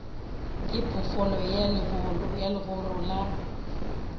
ke phoofolo ya legoro la